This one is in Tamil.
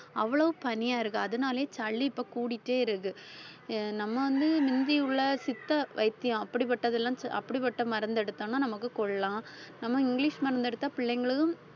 அவ்வளவு பனியா இருக்கு அதனாலேயே சளி இப்ப கூடிட்டே இருக்கு அஹ் நம்ம வந்து மிந்தியுள்ள சித்த வைத்தியம் அப்படிப்பட்டதெல்லாம் அப்படிப்பட்ட மருந்தை எடுத்தோம்ன்னா நமக்கு கொல்லாம் நம்ம இங்கிலிஷ் மருந்து எடுத்தா பிள்ளைங்களும்